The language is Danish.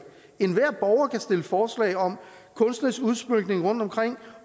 enhver borger kan stille forslag om kunstnerisk udsmykning rundtomkring